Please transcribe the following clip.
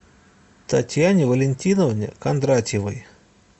татьяне валентиновне кондратьевой